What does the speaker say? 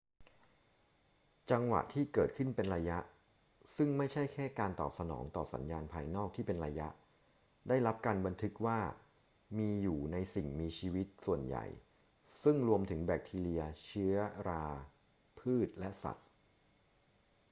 จังหวะที่เกิดขึ้นเป็นระยะ ซึ่งไม่ใช่แค่การตอบสนองต่อสัญญาณภายนอกที่เป็นระยะ ได้รับการบันทึกว่ามีอยู่ในสิ่งมีชีวิตส่วนใหญ่ ซึ่งรวมถึงแบคทีเรีย เชื้อรา พืช และสัตว์